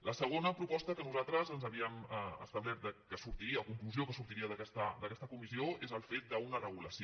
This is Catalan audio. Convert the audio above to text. la segona proposta que nosaltres ens havíem establert que sortiria o conclusió que sortiria d’aquesta comissió és el fet d’una regulació